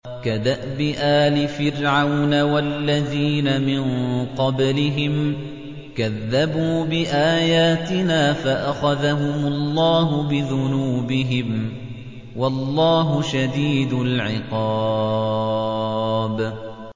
كَدَأْبِ آلِ فِرْعَوْنَ وَالَّذِينَ مِن قَبْلِهِمْ ۚ كَذَّبُوا بِآيَاتِنَا فَأَخَذَهُمُ اللَّهُ بِذُنُوبِهِمْ ۗ وَاللَّهُ شَدِيدُ الْعِقَابِ